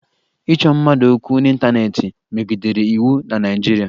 Ịchọ mmadụ okwu n'ịntaneetị megidere iwu na Naịjirịa